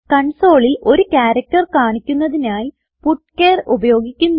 consoleൽ ഒരു ക്യാരക്റ്റർ കാണിക്കുന്നതിനായി പുച്ചർ ഉപയോഗിക്കുന്നു